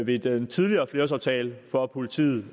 ved den tidligere flerårsaftale for politiet